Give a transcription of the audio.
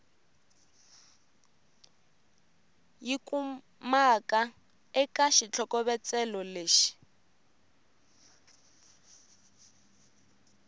yi kumaka eka xitlhokovetselo lexi